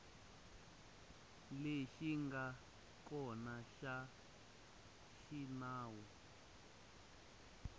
lexi nga kona xa xinawu